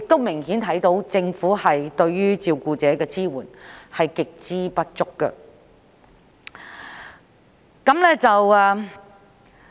明顯地，政府對照顧者的支援極度不足。